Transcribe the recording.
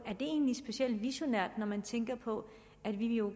det egentlige specielt visionært når man tænker på at vi jo